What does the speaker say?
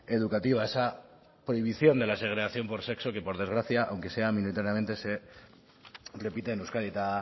educativa esa prohibición de la segregación por sexo que por desgracia aunque sea minoritariamente se repite en euskadi eta